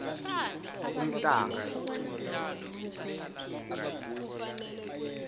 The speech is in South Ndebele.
umhlanga